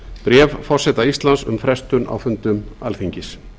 bréf forseta íslands um frestun á fundum alþingis